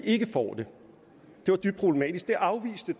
ikke får det det var dybt problematisk det afviste